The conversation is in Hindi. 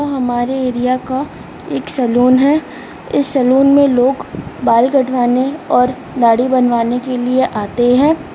हमारे एरिया का एक सैलून है इस सैलून में लोग बाल कटवाने और दाढ़ी बनवाने के लिए आते है।